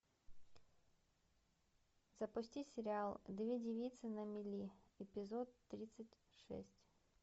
запусти сериал две девицы на мели эпизод тридцать шесть